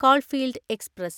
coalfield express